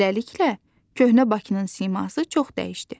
Beləliklə, köhnə Bakının siması çox dəyişdi.